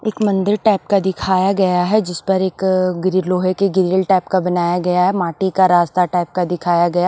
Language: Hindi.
एक मंदिर टाइप का दिखाया गया है जिस पर एकअअ गिरि लोहे के गिरिल टाइप का बनाया गया है माटी का रास्ता टाइप का दिखाया गया --